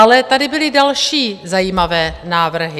Ale tady byly další zajímavé návrhy.